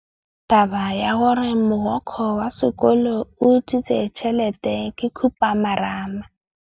Taba ya gore mogokgo wa sekolo o utswitse tšhelete ke khupamarama.